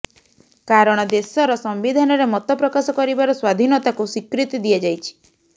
କାରଣ ଦେଶର ସମ୍ବିଧାନରେ ମତପ୍ରକାଶ କରିବାର ସ୍ୱାଧୀନତାକୁ ସ୍ୱୀକୃତି ଦିଆଯାଇଛି